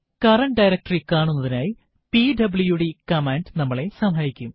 current directory കാണുന്നതിനായി PWD command നമ്മളെ സഹായിക്കും